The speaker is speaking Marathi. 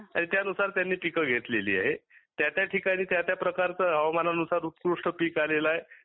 त्यानुसार त्यांनी पिके घेतलेली आहे. त्या त्या ठिकाणी प्रकारचे हवामानानुसार उत्कृष्ठ पिक आलेले आहे.